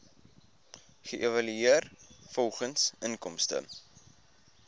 geëvalueer volgens inkomste